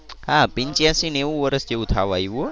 હા પંચયાસી નેવું વર્ષ થવા આવ્યું હો.